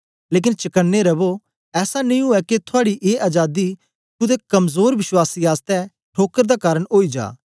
लेकन चकने रवो ऐसा नेई उवै के थूआडी ए अजादी कुदै कमजोर विश्वास आसतै ठोकर दा कारन ओई जा